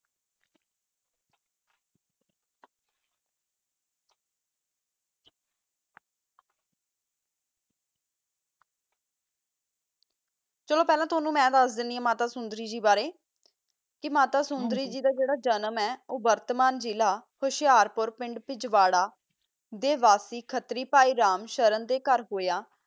ਚਲੋ ਫ਼ਲਾ ਮਾ ਤੂ ਦਸ ਦਾਨੀ ਆ ਮਾਤਾ ਸੋੰਦਾਰੀ ਦਾ ਬਾਰਾ ਮਾਤਾ ਸੋੰਦਾਰੀ ਗ ਦਾ ਜਰਾ ਜਨਮ ਆ ਪਠਾਨ ਜ਼ਿਲਾ ਹੋਸ਼ਰ ਪੋਰ ਜੋਗਾਰਾ ਤਾ ਵਾਸੀ ਖਤਰੀ ਵਾਸੀ ਰਾਮ੍ਸ਼ਾਰਾਂ ਦਾ ਕਰ ਹੋਆ